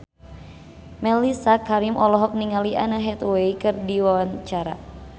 Mellisa Karim olohok ningali Anne Hathaway keur diwawancara